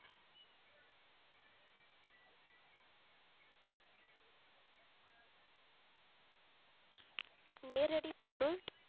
நேரடிப் பொருள்